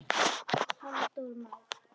Halldór Már.